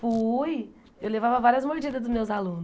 Fui, eu levava várias mordidas dos meus alunos.